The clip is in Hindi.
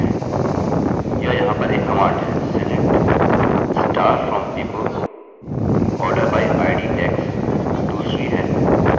यह यहाँ पर एक कमांड है select * from people order by id decs दूसरी है और limit 1 एक और है